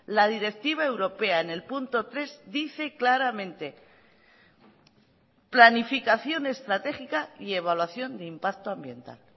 la directiva europea en el punto tres dice claramente planificación estratégica y evaluación de impacto ambiental